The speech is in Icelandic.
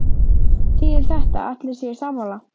Þýðir þetta að allir séu sammála?